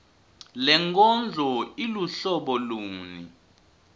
lenkondlo iluhlobo luni